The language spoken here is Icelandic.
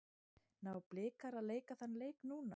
Ná Blikar að leika þann leik núna?